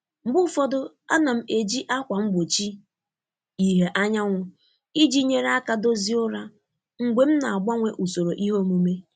Mgbe ụfọdụ, a na m eji ákwà mgbochi ìhè anyanwụ iji nyere aka dozie ụra mgbe m na-agbanwe usoro iheomume.